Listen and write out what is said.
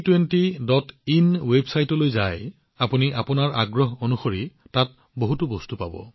যদি আপোনালোকে G20in website পৰিদৰ্শন কৰে আপোনালোকে নিজৰ আগ্ৰহ অনুসৰি তাত বহুতো বস্তু পাব